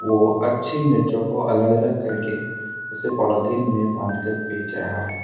वो अच्छी मिर्च को अलग अलग करके उसे पॉलिथीन में बांधकर बेच रहा है।